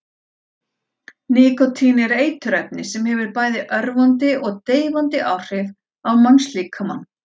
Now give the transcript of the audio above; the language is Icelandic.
Nikótín er eiturefni sem hefur bæði örvandi og deyfandi áhrif á mannslíkamann.